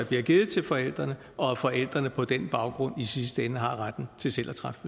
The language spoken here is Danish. bliver givet til forældrene og at forældrene på den baggrund i sidste ende har retten til selv at træffe